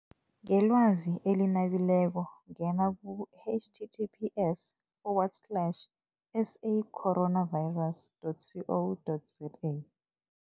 Ngelwazi eli nabileko ngena ku-H T T P S forward slash S A coronavirus dot C O dot Z A.